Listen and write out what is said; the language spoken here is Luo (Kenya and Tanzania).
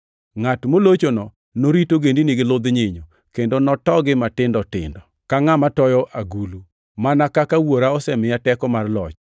‘Ngʼat molochono norit ogendini gi ludh nyinyo, kendo notogi matindo tindo ka ngʼama toyo agulu,’ + 2:27 \+xt Zab 2:9\+xt* mana kaka Wuora osemiya teko mar loch.